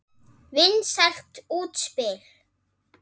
Vinsælt útspil.